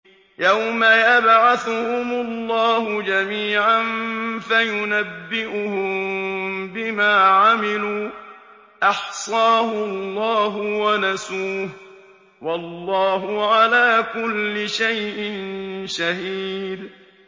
يَوْمَ يَبْعَثُهُمُ اللَّهُ جَمِيعًا فَيُنَبِّئُهُم بِمَا عَمِلُوا ۚ أَحْصَاهُ اللَّهُ وَنَسُوهُ ۚ وَاللَّهُ عَلَىٰ كُلِّ شَيْءٍ شَهِيدٌ